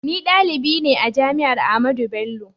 Ni dalibi ne a jami'ar Ahmadu Bello.